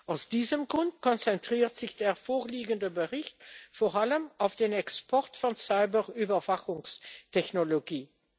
Aus diesem Grund konzentriert sich der vorliegende Bericht vor allem auf den Export von Cyber Überwachungstechnologie.